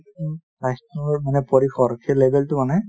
স্বাস্থ্যৰ মানে পৰিসৰ মানে সেই level তো মানে,